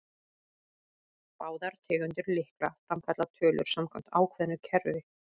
Báðar tegundir lykla framkalla tölur samkvæmt ákveðnu kerfi.